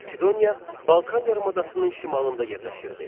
Makedoniya Balkan yarımadasının şimalında yerləşirdi.